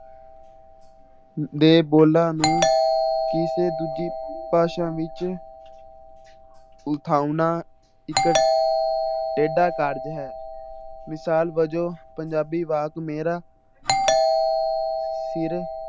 ਦੇ ਬੋਲਾਂ ਨੂੰ ਕਿਸੇ ਦੂਜੀ ਭਾਸ਼ਾ ਵਿੱਚ ਉਠਾਉਣਾ ਇੱਕ ਟੇਢਾ ਕਾਰਜ਼ ਹੈ ਮਿਸਾਲ ਵਜੋਂ ਪੰਜਾਬੀ ਵਾਕ ਮੇਰਾ ਸਿਰ